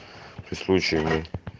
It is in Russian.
ты случаем и